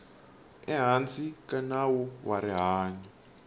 ehansi ka nawu wa rihanyu